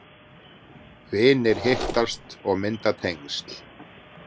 Vinir hittast og mynda tengsl